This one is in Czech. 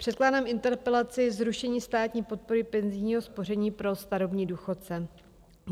Předkládám interpelaci - zrušení státní podpory penzijního spoření pro starobní důchodce.